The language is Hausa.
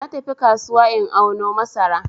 Na tafi kasuwa in auno masara